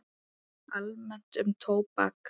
Almennt um tóbak